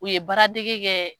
U ye baaradege kɛ.